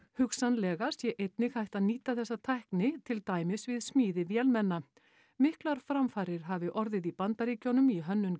hugsanlega sé einnig hægt að nýta þessa tækni til dæmis við smíði vélmenna miklar framfarir hafi orðið í Bandaríkjunum í hönnun